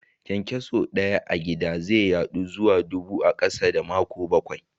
Kyankyaso Daya a gida ze yadu zuwa dubu a kasa da makonni bakwai.